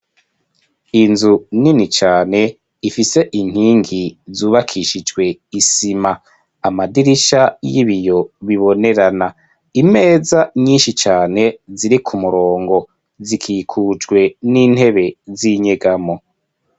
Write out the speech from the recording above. Inzu nini cane, ifise inkingi zubakishijwe isima, amadirisha y'ibiyo bibonerana, imeza nyinshi cane ziri ku murongo, zikikujwe n'intebe z'inyegamo.